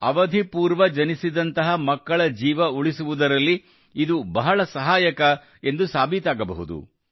ಅವಧಿ ಪೂರ್ವ ಜನಿಸಿದಂತಹ ಮಕ್ಕಳ ಜೀವ ಉಳಿಸುವುದರಲ್ಲಿ ಇದು ಬಹಳ ಸಹಾಯಕ ಎಂದು ಸಾಬೀತಾಗಬಹುದು